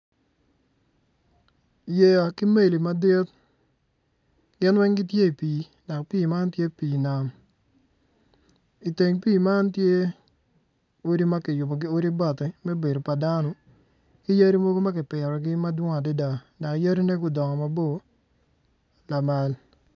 Yeya ki meli madit gin weng tye i pii dok pii man tye pii nam i teng pii man tye odi ma kiyubogi ki bati me bedo pa dano